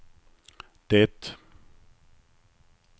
det